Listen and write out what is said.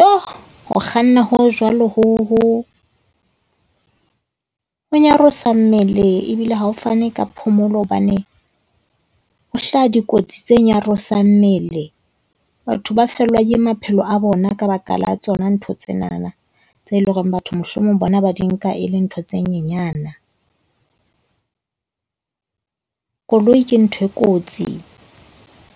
Yho! Ho kganna ho jwalo ho ho ho nyarosa mmele ebile ha o fane ka phomolo hobane, ho hlaha dikotsi tse nyarosang mmele. Batho ba fellwa ke maphelo a bona ka baka la tsona ntho tsenana tseo e leng hore batho mohlomong bona ba di nka e le ntho tse nyenyana. Koloi ke ntho e kotsi,